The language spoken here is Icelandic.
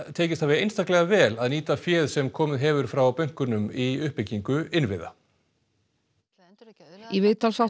tekist hafi einstaklega vel að nýta féð sem komið hefur frá bönkunum í uppbyggingu innviða í viðtalsþáttum